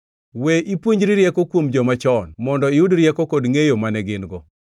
We ipuonjri rieko kuom joma chon mondo iyud rieko kod ngʼeyo mane gin-go?